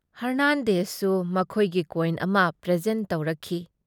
ꯍꯔꯅꯥꯟꯗꯦꯖꯁꯨ ꯃꯈꯣꯏꯒꯤ ꯀꯣꯏꯟ ꯑꯃ ꯄ꯭ꯔꯦꯖꯦꯟꯠ ꯇꯧꯔꯛꯈꯤ ꯫